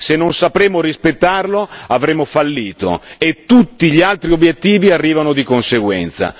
Se non sapremo rispettarlo, avremo fallito e tutti gli altri obiettivi arrivano di conseguenza.